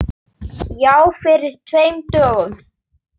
Já, fyrir tveim dögum.